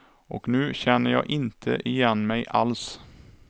Och nu känner jag inte igen mig alls.